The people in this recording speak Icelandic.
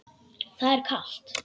Það er kalt.